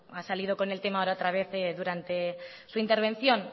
ha salido con el tema ahora otra vez durante su intervención